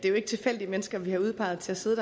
er tilfældige mennesker vi har udpeget til at sidde